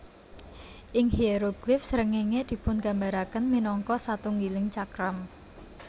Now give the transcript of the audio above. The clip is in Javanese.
Ing hieroglif srengéngé dipungambaraken minangka satunggiling cakram